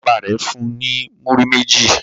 Bàbá rẹ̀ fun ní múrí méjì.